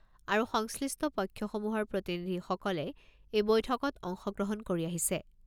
আৰু সংশ্লিষ্ট পক্ষসমূহৰ প্ৰতিনিধিসকলে এই বৈঠকত অংশগ্ৰহণ কৰি আহিছে।